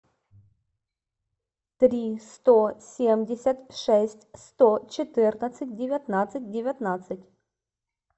три сто семьдесят шесть сто четырнадцать девятнадцать девятнадцать